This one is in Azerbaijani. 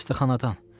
Xəstəxanadan.